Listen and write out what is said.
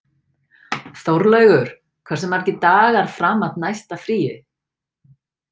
Þórlaugur, hversu margir dagar fram að næsta fríi?